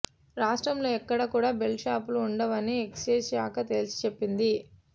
రాష్టంలో ఎక్కడా కూడ బెల్ట్ షాపులు ఉండవని ఎక్సైజ్ శాఖ తేల్చి చెప్పింది